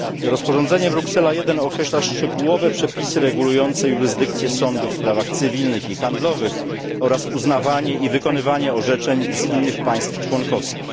Rozporządzenie Bruksela 1 określa szczegółowe przepisy regulujące jurysdykcje sądów w sprawach cywilnych i handlowych oraz uznawanie i wykonywanie orzeczeń z innych państw członkowskich.